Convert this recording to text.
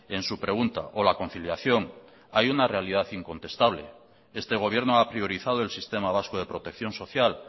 en su pregunta o la conciliación hay una realidad incontestable este gobierno ha priorizado el sistema vasco de protección social